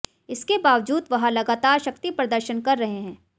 इसके बावजूद वह लगातार शक्ति प्रदर्शन कर रहे हैं